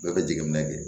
Bɛɛ bɛ jateminɛ kɛ